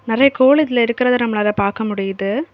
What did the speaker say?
நெறைய கோழிகள் இருக்கறத நம்மளால பாக்க முடியுது.